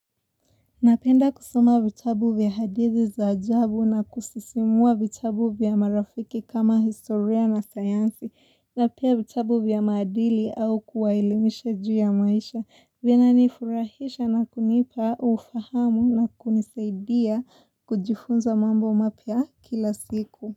Napenda kusoma vitabu vya hadithi za ajabu na kusisimua vitabu vya marafiki kama historia na sayansi na pia vitabu vya maadili au kuwaelimisha juu ya maisha venye nifurahisha na kunipa ufahamu na kunisaidia kujifunza mambo mpya kila siku.